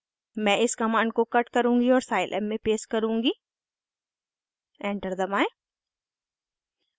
मैं इस कमांड को कट करुँगी और साइलैब में पेस्ट करुँगी एंटर दबाएं